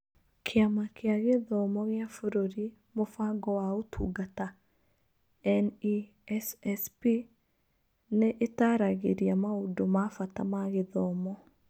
Kĩama kĩa Gĩthomo gĩa Bũrũri Mũbango wa Ũtungata (NESSP) nĩ ĩtaaragĩria maũndũ ma bata ma gĩthomo